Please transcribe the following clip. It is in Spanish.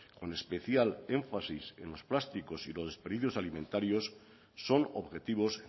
con especial énfasis en los plásticos y los desperdicios alimentarios son objetivos